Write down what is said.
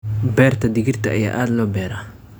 Beerta digirta ayaa aad loo beeraa.